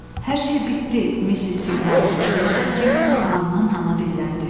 "Hər şey bitdi, Missis Tinqami," deyə həkim hanı-hana dilləndi.